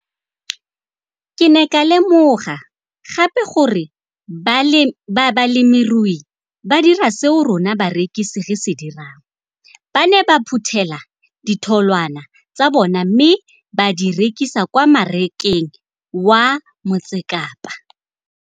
Ke ne ka lemoga gape gore balemirui ba dira seo rona barekisi re se dirang - ba ne ba phuthela ditholwana tsa bona mme ba di rekisa kwa marakeng wa Motsekapa.